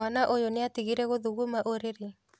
Mwana ũyũ nĩatigire gũthuguma ũrĩrĩ?